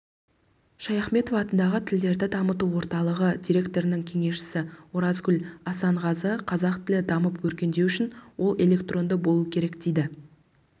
шаяхметов атындағы тілдерді дамыту орталығы директорының кеңесшісі оразгүл асанғазы қазақ тілі дамып өркендеу үшін ол электронды болу керек дейді